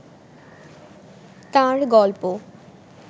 তাঁর গল্প